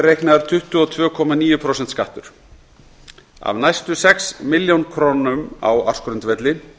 er reiknaður tuttugu og tvö komma níu prósenta skattur af næstu sex milljónum króna á ársgrundvelli